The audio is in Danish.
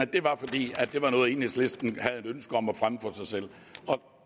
det var fordi det var noget enhedslisten havde et ønske om at fremme for sig selv og